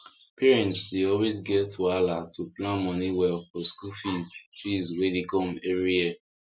parents dey always get wahala to plan money well for school fees fees wey dey come every year